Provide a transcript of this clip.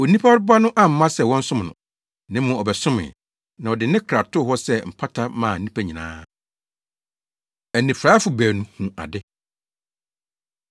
Onipa Ba no amma sɛ wɔnsom no, na mmom ɔbɛsomee, na ɔde ne kra too hɔ sɛ mpata maa nnipa nyinaa.” Anifuraefo Baanu Hu Ade